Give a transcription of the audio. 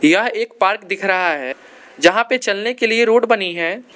यह एक पार्क दिख रहा है जहां पर चलने के लिए रोड बनी है।